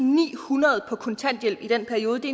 og nihundrede på kontanthjælp i den periode det